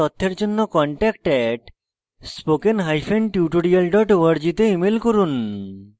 বিস্তারিত তথ্যের জন্য contact @spokentutorial org তে ইমেল করুন